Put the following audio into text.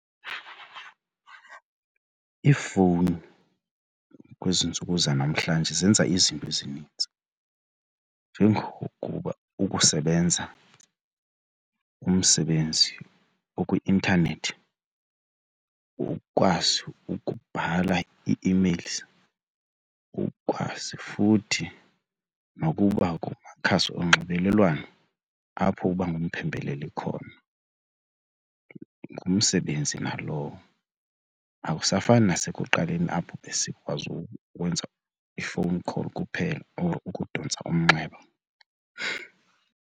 Iifowuni kwezi ntsuku zanamhlanje zenza izinto ezininzi njengokuba ukusebenza umsebenzi okwi-intanethi ukwazi ukubhala ii-emails ukwazi futhi nokuba kumakhasi onxibelelwano apho uba ngumphembeleli khona. Ngumsebenzi nalowo akusafani nasekuqaleni apho besikwazi ukwenza i-phone call kuphela or ukudontsa umnxeba.